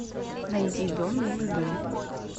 найди дом милый дом